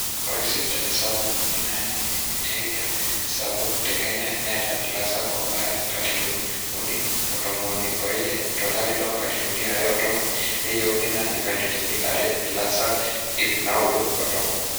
ore sipitali sapuk emoi naa ninye eniare aasapuk te kenya neeta ilaasak oobaya inkalifuni uni ontomoni ileoile tolari loo nkalifuni are otomon neyieuni naa inkalifuni are ilaasak ip naaudo otomon